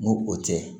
N ko o tɛ